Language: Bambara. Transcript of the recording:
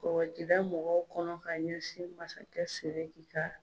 Kɔkɔjidamɔgɔw kɔnɔ ka ɲɛsin masakɛ sɛrifu ka